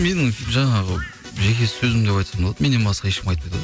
менің жаңағы жеке сөзім деп айтсам болады меннен басқа ешкім айтпайды ғой